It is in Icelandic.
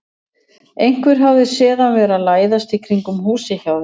Einhver hafði séð hann vera að læðast í kringum húsið hjá þér.